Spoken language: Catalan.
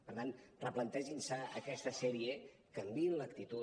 per tant replantegin se aquesta sèrie canviïn l’actitud